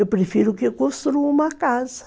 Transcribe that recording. Eu prefiro que construam uma casa.